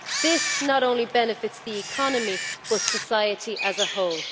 This not only benefits the economy, but society as a whole.